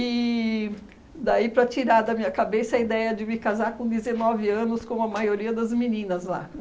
E daí para tirar da minha cabeça a ideia de me casar com dezenove anos, como a maioria das meninas lá.